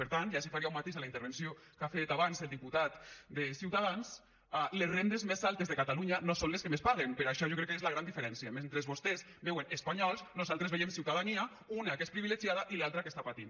per tant i ací faria un matís a la intervenció que ha fet abans el diputat de ciutadans les rendes més altes de catalunya no són les que més paguen per això jo crec que és la gran diferència mentre vostès veuen espanyols nosaltres veiem ciutadania una que és privilegiada i l’altra que està patint